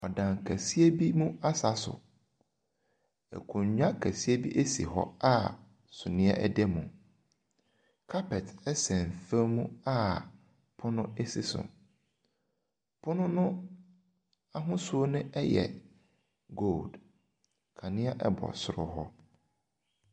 Nipa a wɔahyia a wɔresua adeɛ. Mmarima mmienu, ɛna mma mmeɛnsa, wɔtete pono ho a wɔn laptop sisi pono no so. Na baako gyi ɔbaa baako gyina hɔ a ɔno na ɔrekyerɛ wɔn adeɛ no.